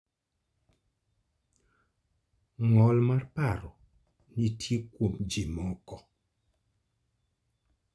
Ng'ol mar paro nitie kuom ji moko.